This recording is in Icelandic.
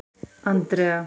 Andrea